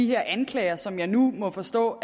her anklager som jeg nu må forstå